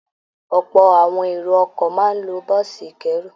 Ọ̀pọ̀ àwọn èrò ọkọ̀ máa ń lo bọ́ọ̀sì ìkẹ́rù